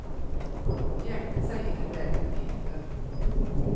Gjemte seg i det blendende hvite.